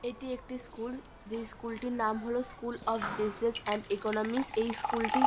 এটি একটি স্কুল যে স্কুল -টির নাম হল school of business and economics এই স্কুল -টি --